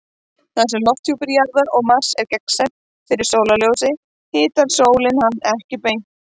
Þar sem lofthjúpur Jarðar og Mars er gagnsær fyrir sólarljósi hitar sólin hann ekki beint.